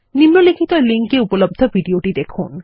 নিম্নলিখিত লিঙ্ক এ উপলব্ধ ভিডিওটি দেখুন